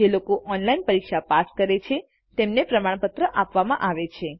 જે ઓનલાઈન પરીક્ષા પાસ કરે છે તેમને પ્રમાણપત્રો પણ આપવામાં આવે છે